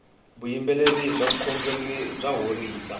vuyimberi bya vukhongeri ya horisa